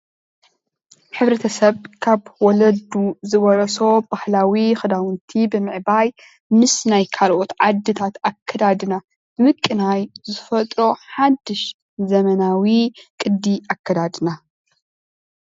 ሕብረተሰብ ካብ ወለዱ ዝወረሶ ባህላዊ ክዳውንቲ ብምዕባይ ምስ ናይ ካልኦት ዓድታት ኣከዳድና ምቅናይ ዝፈጥሮ ሓዱሽ ዘመናዊ ቅዲ ኣከዳድና